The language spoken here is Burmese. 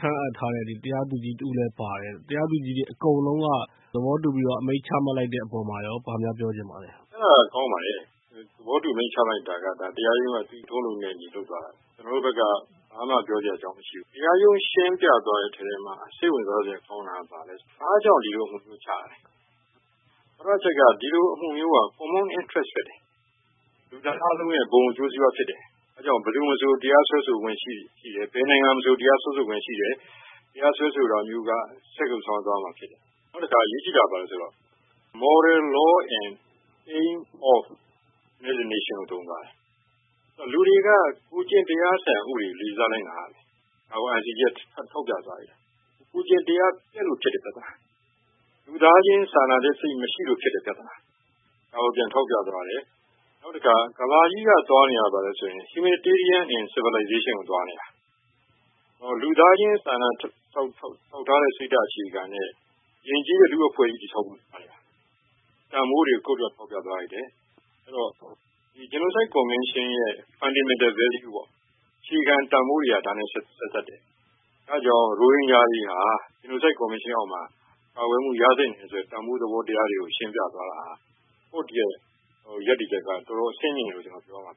ခန့်ထားတဲ့ တရားသူကြီးတဦးလည်းပါတယ်။ တရားသူကြီးအကုန်လုံးက သဘောတူပြီးတော့ အမိန့်ချလိုက်တဲ့ အပေါ်မှာရော ဘာများပြောချင်ပါသလဲ။ အဲဒါကောင်းပါတယ် သဘောတူအမိန့်ချလိုက်တာက တရားရုံးရဲ့ သူ့လုပ်ထုံးလုပ်နည်းနဲ့အညီလုပ်သွားတယ်။ ကျနော်တို့ကတော့ ဘာမှပြောစရာမရှိဘူး။ တရားရုံး ရှင်းပြသွားတဲ့အထဲမှာ စိတ်ဝင်စားစရာကောင်းတာကတော့ ဘာကြောင့် ဒီလိုအမိန့်ချသလဲ ။ ပထမအချက်က ဒီလိုအမှုမျိုးက common interest ဖြစ်တယ်။ လူသားအားလုံးရဲ့ ဘုံအကျိုးစီးပွားဖြစ်တယ်။ ဒါကြောင့် ဘယ်သူမဆို တရားစွဲဆိုခွင့်ရှိတယ်။ ဘယ်နိုင်ငံ မဆို တရားစွဲဆိုခွင့်ရှိတယ်။ တရားစွဲဆိုတာကမျိုးက ဆက်ကိုဆောင်ရွက်သွားရမှာ ဖြစ်တယ်။ နောက်တခါ အရေးကြီးတာကတော့ Moral law and aim of United Nations လို့သုံးသွားတယ်။ လူတွေက ကိုယ့်ကျင့်တရားစံဥပဒေကို လေးစားလိုက်နာရမယ်။ ဒါကို ICJ က ထောက်ပြသွားတာ။ ကိုယ့်ကျင့်တရား ပျက်လို့ ဖြစ်တဲ့ ပြဿနာ ၊ လူသားချင်းစာနာစိတ်မရှိလို့ ဖြစ်တဲ့ ပြဿနာ။ ဒါကို ပြန်ထောက်ပြသွားတယ်။ နောက်တခါ ကမ္ဘာကြီးက သွားနေတာက humanitarian and civilization ကို သွားနေတာ။ လူသားချင်းစာနာထောက်ထားတဲ့ စိတ်အခြေခံတဲ့ ယဉ်ကျေးတဲ့ လူ့အဖွဲ့အစည်း တည်ဆောက်မှုဆိုင်ရာ တန်ဖိုးတွေကို ထောက်ပြသွားပါတယ်။ အဲဒီတော့ Genocide Convention ရဲ့ fundamental values အခြေခံတန်ဖိုးတွေက ဒါနဲ့ ဆက်စပ်တယ် အဲဒါကြောင့် ရိုဟင်ဂျာ တွေဟာ Genocide convention အောက်မှ ပါဝင်မူရသင့်တယ်လို့ တန်ဖိုးသဘောတရားတွေကို ရှင်းပြသွားတဲ့ တရားရုံးရပ်တည်ချက်က တော်တော်အဆင့်မြင့်တယ်လို့ ကျနော်ပြောရမှာ